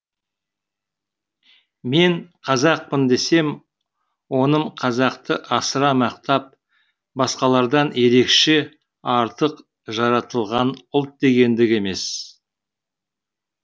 мен қазақпын десем оным қазақты асыра мақтап басқалардан ерекше артық жаратылған ұлт дегендік емес